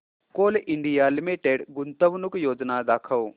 Coal India Limited गुंतवणूक योजना दाखव